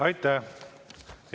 Aitäh!